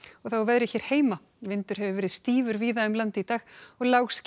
og þá að veðri vindur hefur verið stífur víða um land í dag og